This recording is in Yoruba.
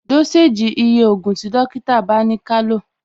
Dósèjì ni iye ògùn tí dókítà bá ni kálò